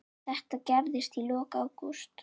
Þetta gerðist í lok ágúst.